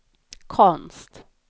konst